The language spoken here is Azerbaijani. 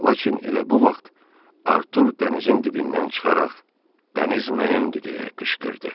Lakin elə bu vaxt Artur dənizin dibindən çıxaraq, dəniz mənimdir, deyə qışqırdı.